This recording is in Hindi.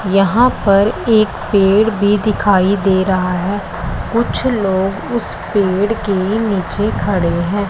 यहां पर एक पेड़ भी दिखाई दे रहा है कुछ लोग उस पेड़ के नीचे खड़े हैं।